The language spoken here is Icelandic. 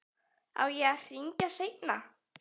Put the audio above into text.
Á ég að hringja seinna?